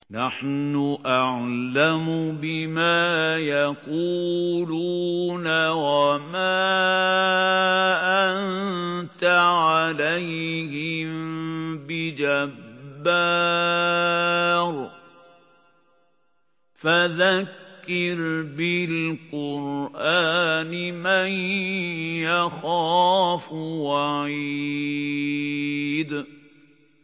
نَّحْنُ أَعْلَمُ بِمَا يَقُولُونَ ۖ وَمَا أَنتَ عَلَيْهِم بِجَبَّارٍ ۖ فَذَكِّرْ بِالْقُرْآنِ مَن يَخَافُ وَعِيدِ